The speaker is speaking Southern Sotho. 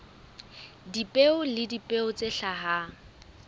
dipeo le dipeo tse hlahang